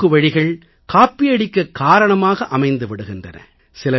குறுக்குவழிகள் காப்பியடிக்க காரணமாக அமைந்து விடுகின்றன